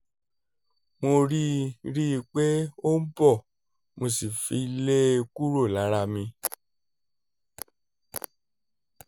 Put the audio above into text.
mo rí rí i pé ó ń bọ̀ mo sì fi í lé e kúrò lára mi